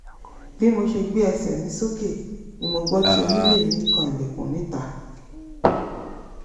bí mo ṣe gbé ẹsẹ̀ mi sókè ni mo gbọ́ tí onílé mi ń kan ilẹ̀kùn níta